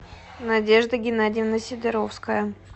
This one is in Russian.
надежда геннадьевна сидоровская